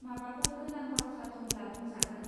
माबाफोर गोनां बाथ्रा दंब्ला बुंजागोन